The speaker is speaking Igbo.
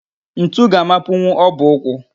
Ntu ga-amapunwu ọbụ ụkwụ